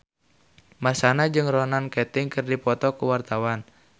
Marshanda jeung Ronan Keating keur dipoto ku wartawan